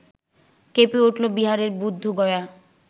কেঁপে উঠল বিহারের বুদ্ধগয়া